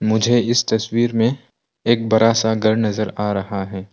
मुझे इस तस्वीर में एक बड़ा सा घर नज़र आ रहा है।